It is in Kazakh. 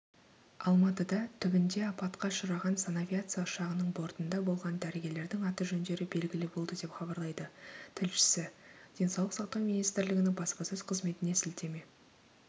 алматыда түбінде апатқа ұшыраған санавиация ұшағының бортында болған дәрігерлердің аты-жөндері белгілі болды деп хабарлайды тілшісі денсаулық сақтау министрлігінің баспасөз қызметіне сілтеме